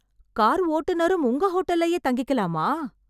car ஓட்டுனரும் உங்க ஹோட்டல்லயே தங்கிக்கலாமா...